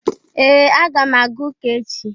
Ee! Aga m aga ụka echi.